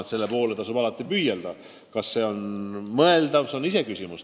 Eks selle poole tasub alati püüelda, aga kas see on mõeldav, on iseküsimus.